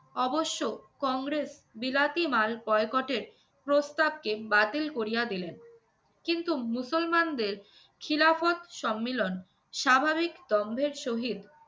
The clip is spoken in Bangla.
অবশ্য কংগ্রেস বিলাতি মাল boycott এর প্রস্তাবকে বাতিল করিয়া দিলেন। কিন্তু মুসলমানদের খিলাফত সম্মিলন স্বাভাবিক দম্ভের সহিত